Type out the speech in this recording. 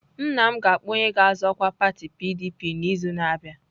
Nna m ga-akpọ onye ga-azọ ọkwa pati PDP n'izu na-abịa.